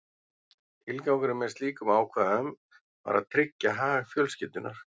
Tilgangurinn með slíkum ákvæðum var að tryggja hag fjölskyldunnar.